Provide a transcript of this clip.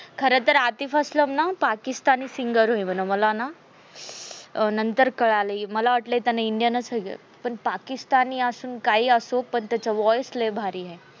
खर तर आतिफअस्लम ना Pakistan singer होय मन. मला ना नंतर कळाल मला वाटलय त्याल indian स होय खर पण पाकिस्तानी असो काही असो त्याचा voice लय भारी आहे.